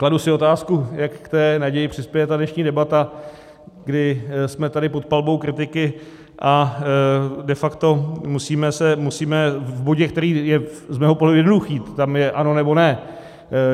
Kladu si otázku, jak k té naději přispěje ta dnešní debata, kdy jsme tady pod palbou kritiky a de facto musíme se, musíme - v bodě, který je z mého pohledu jednoduchý, tam je ano, nebo ne.